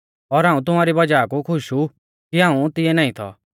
तैबै यीशुऐ तिउंकै साफसाफ बोली गौ लाज़र मौरी गौ आ